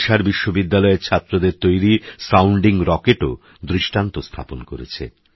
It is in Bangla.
ওড়িশারবিশ্ববিদ্যালয়ের ছাত্রদেরতৈরি সাউণ্ডিংরকেটওদৃষ্টান্তস্থাপনকরেছে